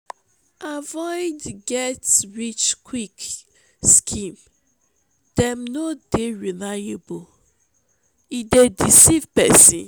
avoid get-rich-quick scheme dem no dey reliable e dey deceive pesin.